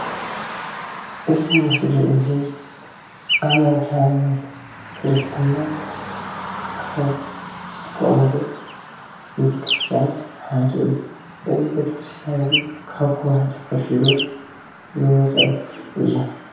እዚ ምስሊ እዚ ኣመንቲ ሃይማኖት ክርስትና ካብ ዝጥቀሙሉ ቤተ ክርስትያን ሓደ እዩ። እዚ ቤተ ክርስትያን እዚ ካብ ከውሒ ተፈልፊሉ ዝወፀ እዩ።